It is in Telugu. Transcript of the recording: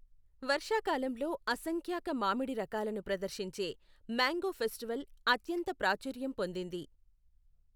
వర్షాకాలంలో అసంఖ్యాక మామిడి రకాలను ప్రదర్శించే మ్యాంగో ఫెస్టివల్ అత్యంత ప్రాచుర్యం పొందింది.